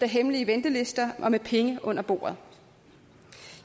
hemmelige ventelister og med penge under bordet